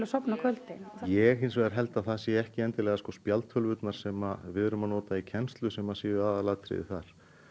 á kvöldin ég hins vegar held að það séu ekki endilega spjaldtölvurnar sem við erum að nota í kennslu sem séu aðalatriðið þar